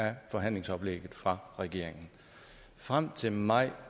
af forhandlingsoplægget fra regeringen frem til maj